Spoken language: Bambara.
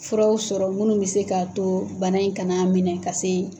Furaw sɔrɔ minnu bi se ka to bana in kana minɛ ka se